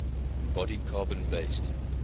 body carbon based